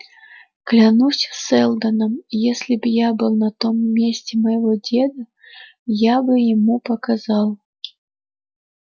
клянусь сэлдоном если б я был на том месте моего деда я бы ему показал